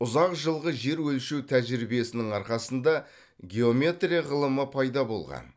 ұзақ жылғы жер өлшеу тәжірибесінің арқасында геометрия ғылымы пайда болған